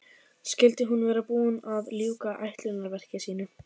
Skyldi hún vera búin að ljúka ætlunarverki sínu?